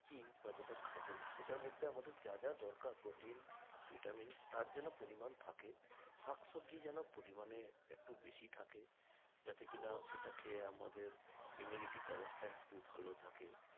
বা যেটা খাবো সেটার মধ্যে আমাদের যা যা দরকার protein vitamins তার যেন পরিমান থাকে শাকসবজি যেন পরিমানে একটু বেশি থাকে যাতে কিনা সেটা খেয়ে আমাদের immunity power টা একটু ভালো থাকে